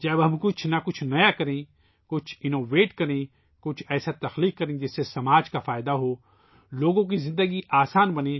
جب ہم کچھ نیا کام کریں تو کچھ اختراعی کریں ، کچھ ایسا کام کریں ، جس سے سماج کا بھلاہو ، لوگوں کی زندگی آسان بنے